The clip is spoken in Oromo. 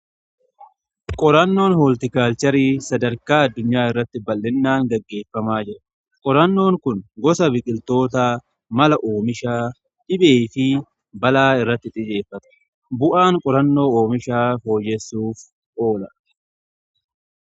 Qorannoon hooltikaalcharii sadarkaa addunyaa irratti bal'inaan gaggeeffamaa jira. Qorannoon kun gosa biqiltoota mala oomisha dhibee fi balaa irratti xiyyeeffata. Bu'aan qorannoo oomishaa fooyyessuuf oola.